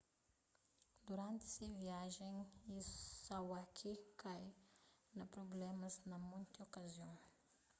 duranti se viajen iwasaki kai na prublémas na monti okazion